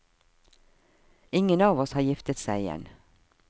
Ingen av oss har giftet seg igjen.